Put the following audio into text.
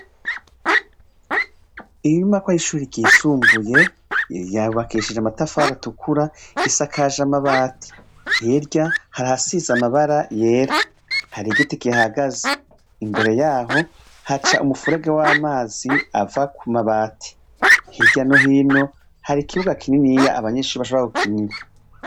Inyubakwa yishure ryisumbuye yubakishije amatafari atukura, isakaje amabati hirya hari ahasize amabara yera, hari igiti kihahagaze imbere yaho haca umufurege wamazi ava kumabati, hiryo no hino hari ikibuga kininiya abanyeshure bashobora gukinira.